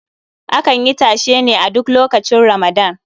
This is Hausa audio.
Akan yi tashe ne a duk lokacin Ramadan.